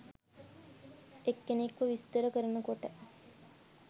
එක්කෙනෙක්ව විස්තර කරනකොට?